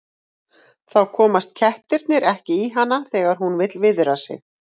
Þá komast kettirnir ekki í hana þegar hún vill viðra sig.